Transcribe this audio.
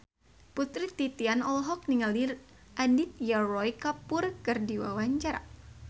Putri Titian olohok ningali Aditya Roy Kapoor keur diwawancara